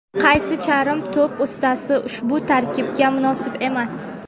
qaysi charm to‘p ustasi ushbu tarkibga munosib emas?.